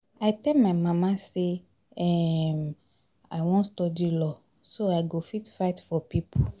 I tell my mama say um I wan study law so I go fit fight for people